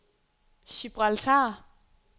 Gibraltar